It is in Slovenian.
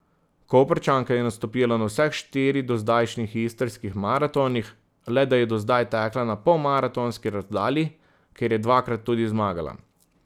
Koprčanka je nastopila na vseh štiri dozdajšnjih istrskih maratonih, le da je do zdaj tekla na polmaratonski razdalji, kjer je dvakrat tudi zmagala.